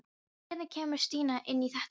Hvernig kemur Stína inn í þetta dæmi?